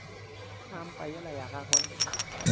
na mpa yela ya gagwe